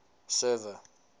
server